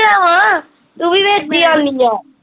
ਆ, ਤੂੰ ਵੀ ਵਿੱਚ ਈ ਆਉਂਦੀ ਆ